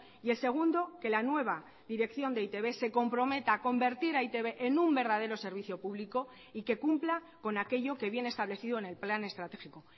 y el segundo que la nueva dirección de e i te be se comprometa a convertir a e i te be en un verdadero servicio público y que cumpla con aquello que viene establecido en el plan estratégico